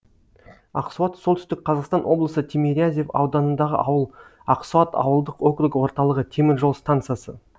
ақсуат солтүстік қазақстан облысы тимирязев ауданындағы ауыл ақсуат ауылдық округі орталығы темір жол стансасы